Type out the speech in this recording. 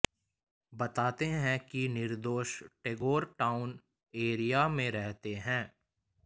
बताते हैं कि निर्दोष टैगोर टाउन एरिया में रहते हैं